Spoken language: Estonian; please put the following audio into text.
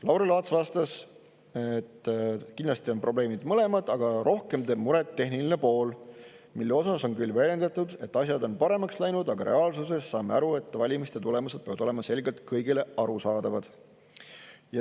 Lauri Laats vastas, et kindlasti on probleemid mõlemad, aga rohkem teeb muret tehniline pool, mille osas on väidetud, et asjad on paremaks läinud, aga reaalsuses saame aru, et valimiste tulemused peavad olema selgelt kõigile arusaadavad.